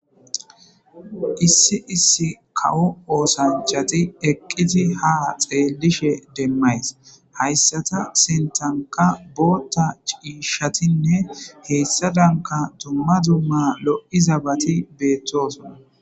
Issi issi kawo oosanchati eqqiti ha xeelishe demmays hayssata sentanka bootta ciishatinne heyssa danka dumma dumma loi zabati beettosona